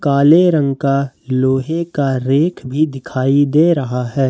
काले रंग का लोहे का रैक भी दिखाई दे रहा है।